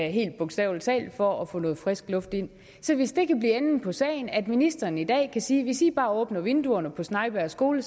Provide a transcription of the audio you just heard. helt bogstavelig talt for at få noget frisk luft ind så hvis det kan blive enden på sagen at ministeren i dag kan sige hvis i bare åbner vinduerne på snejbjerg skole